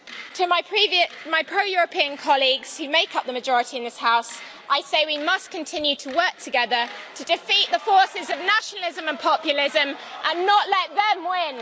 To my pro European colleagues, who make up the majority in this House, I say we must continue to work together to defeat the forces of nationalism and populism and not let them win.